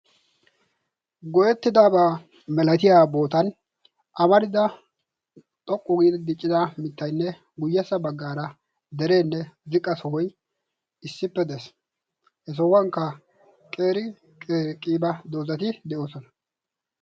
goyyettidaba malatiyaa botan amarida xoqqu giidi diccida mittayinne dereenne ziqqa sohoy issippe des. he sohuwankka qeeri qiiba dozati de'oosona.